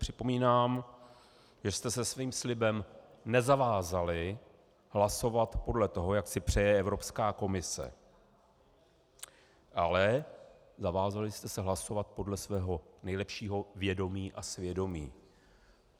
Připomínám, že jste se svým slibem nezavázali hlasovat podle toho, jak si přeje Evropská komise, ale zavázali jste se hlasovat podle svého nejlepšího vědomí a svědomí.